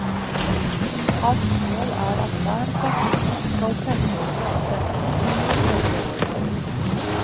Hans mål er at hver stasjon skal femdoble omsetningen hvert tredje år.